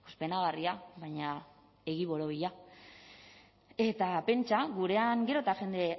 penagarria baina egi borobila eta pentsa gurean gero eta jende